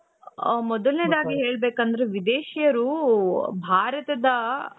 ಹ ಮೊದಲನೇದಾಗಿ ಹೇಳಬೇಕು ಅಂದ್ರೆ ವಿದೇಶಿಯರು ಭಾರತದ.